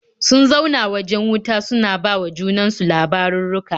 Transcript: Sun zauna waje wuta suna ba wa junan su labarurruka.